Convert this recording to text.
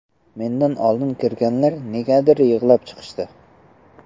Mendan oldin kirganlar negadir yig‘lab chiqishdi.